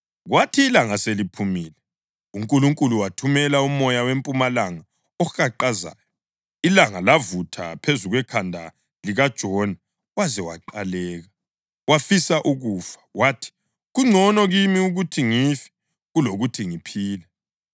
Kwathi ilanga seliphumile uNkulunkulu wathumela umoya wempumalanga ohaqazayo, ilanga lavutha phezu kwekhanda likaJona waze waqaleka. Wafisa ukufa, wathi, “Kungcono kimi ukuthi ngife kulokuthi ngiphile.”